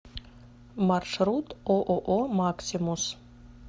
маршрут ооо максимус